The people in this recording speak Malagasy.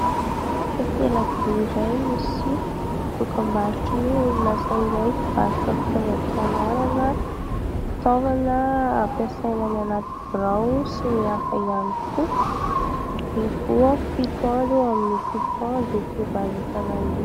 Takela-by iray misy dokam-barotra ny orinasa iray mpivarotra fitaovam-pianarana, fitaovana ampiasaina ny anaty birao, sy ny hafa ihany koa. Mivoha fito andro amin'ny fito andro io fivarotana io.